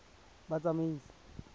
batsamaisi